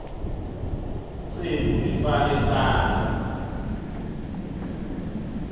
cembu lifake sandla